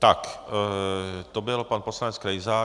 Tak, to byl pan poslanec Krejza.